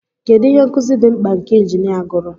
Kedu ihe nkuzi dị mkpa nke injinia gụrụ?